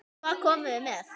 Hvað komum við með?